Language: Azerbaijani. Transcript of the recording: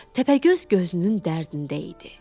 Təpəgöz gözünün dərdində idi.